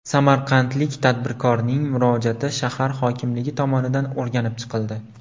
Samarqandlik tadbirkorning murojaati shahar hokimligi tomonidan o‘rganib chiqildi.